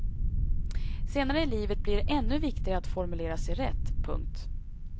Senare i livet blir det ännu viktigare att formulera sig rätt. punkt